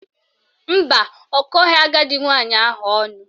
Mba, ọ kọghị agadi nwaanyị ahụ ọnụ